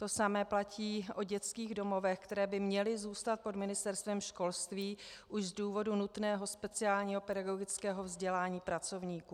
To samé platí o dětských domovech, které by měly zůstat pod Ministerstvem školství už z důvodu nutného speciálního pedagogického vzdělání pracovníků.